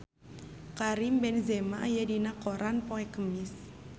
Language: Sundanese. Karim Benzema aya dina koran poe Kemis